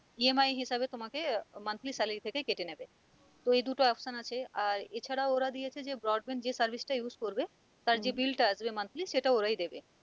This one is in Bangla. EMI হিসেবে তোমাকে monthly salary আহ থেকে কেটে নেবে তো এই দুটো option আছে আর এ ছাড়াও ওরা দিয়েছে যে brand band যে service টা use করবে তার যে bill টা আসবে monthly সেটা ওরাই দেবে।